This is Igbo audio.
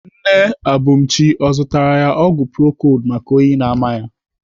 Nne Abumchi ọ zụtara ya ọgwụ procold maka oyi na-ama ya?